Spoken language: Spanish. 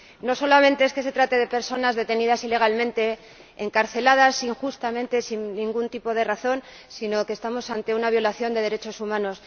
No solamente que se trata de personas detenidas ilegalmente, encarceladas injustamente sin ningún tipo de razón, sino que estamos ante una violación de los derechos humanos.